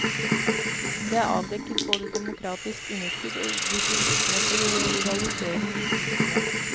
Det er avdekket både demokratisk underskudd og distriktsmessig rivalisering i fylkene.